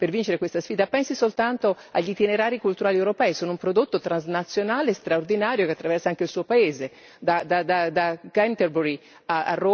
Pensi soltanto agli itinerari culturali europei sono un prodotto transnazionale straordinario che attraversa anche il suo paese, da Canterbury a Roma c'è la Via Francigena.